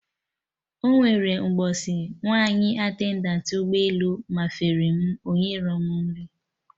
Ọnwere mgbọsị nwaanyị attendant ụgbọ elu mafere m, onyerọ m nri